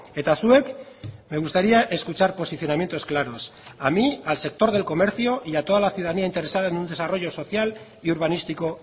eta zuek me gustaría escuchar posicionamientos claros a mí al sector del comercio y a toda la ciudadanía interesada en un desarrollo social y urbanístico